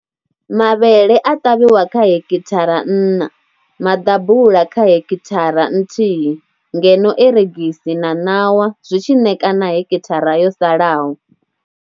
Mavhele a ṱavhiwa kha hekithara nṋa, maḓabula kha hekithara nthihi ngeno eregisi na ṋawa zwi tshi ṋekana hekithara yo salaho.